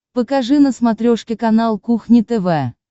покажи на смотрешке канал кухня тв